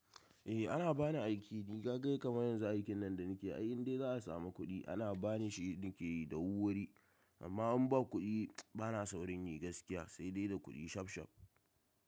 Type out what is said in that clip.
Eh ana bani aiki ni, kaga kaman yanzu aikin nan da nake yi indai za a samu kuɗi ana bani shi nake yi da wurwuri. Amma in ba kuɗi bana saurin yi gaskiyaz sai dai da kuɗi shaf shaf.